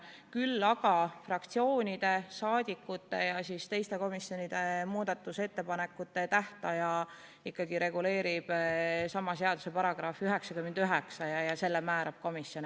Kuid fraktsioonide, rahvasaadikute ja teiste komisjonide muudatusettepanekute tähtaja reguleerib sama seaduse § 99, mille järgi tähtaja määrab komisjon.